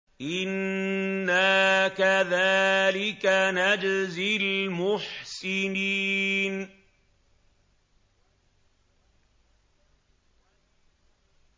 إِنَّا كَذَٰلِكَ نَجْزِي الْمُحْسِنِينَ